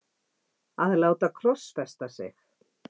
að láta krossfesta sig?